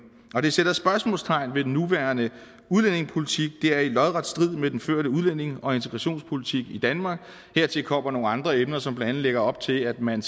det sætter spørgsmålstegn ved den nuværende udlændingepolitik det er i lodret strid med den førte udlændinge og integrationspolitik i danmark hertil kommer nogle andre emner som blandt andet lægger op til at man